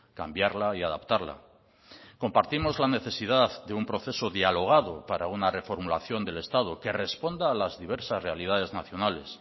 cambiarla y adaptarla compartimos la necesidad de un proceso dialogado para una reformulación del estado que responda a las diversas realidades nacionales